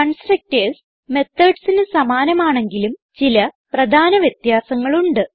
constructors methodsന് സമാനമാണെങ്കിലും ചില പ്രധാന വ്യത്യാസങ്ങൾ ഉണ്ട്